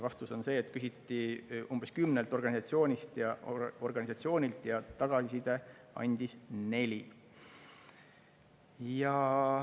Vastus on see, et küsiti umbes kümnelt organisatsioonilt ja tagasisidet andis neli.